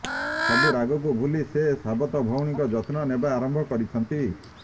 ସବୁ ରାଗକୁ ଭୁଲି ସେ ସାବତ ଭଉଣୀଙ୍କ ଯତ୍ନ ନେବା ଆରମ୍ଭ କରିଛନ୍ତି